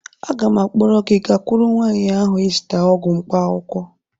Aga m akpọrọ gị gakwuru nwaanyị ahụ ị zụta ọgwụ mkpaakwụkwọ